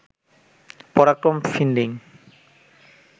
পরাক্রম finding